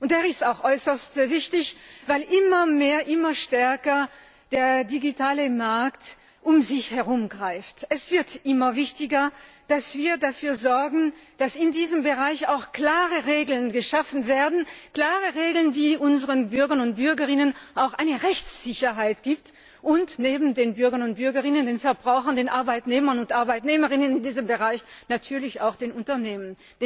Er ist auch äußerst wichtig, weil der digitale Markt immer mehr, immer stärker um sich greift. Es wird immer wichtiger, dass wir dafür sorgen, dass in diesem Bereich auch klare Regeln geschaffen werden klare Regeln, die unseren Bürgern und Bürgerinnen auch eine Rechtssicherheit geben, und neben den Bürgern und Bürgerinnen den Verbrauchern, den Arbeitnehmern und Arbeitnehmerinnen in diesem Bereich, natürlich auch den Unternehmen.